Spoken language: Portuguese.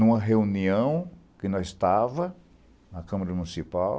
Em uma reunião que nós estávamos na Câmara Municipal,